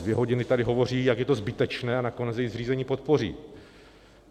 Dvě hodiny tady hovoří, jak je to zbytečné, a nakonec její zřízení podpoří.